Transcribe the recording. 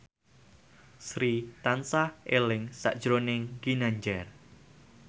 Sri tansah eling sakjroning Ginanjar